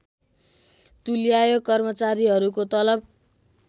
तुल्यायो कर्मचारीहरूको तलब